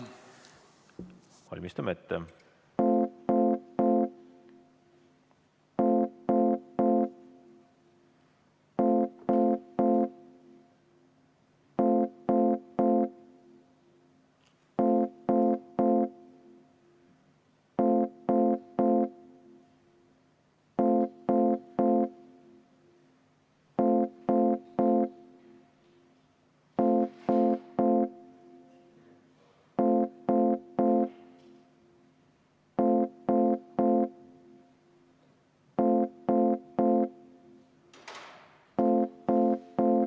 Valmistame ette.